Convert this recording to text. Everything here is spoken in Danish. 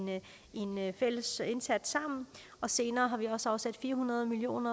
fælles indsats og senere har vi også afsat fire hundrede million